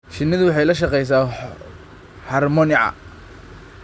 Shinnidu waxay la shaqeysaa harmonica.